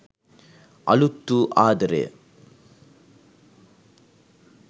අලුත් වූ ආදරය